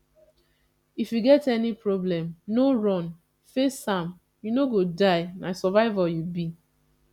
if you get any problem no run face am you no go die na survivor you be